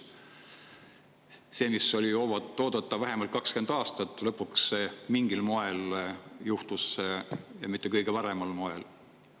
See, mida oli oodatud vähemalt 20 aastat, lõpuks mingil moel juhtus, aga mitte kõige paremal moel.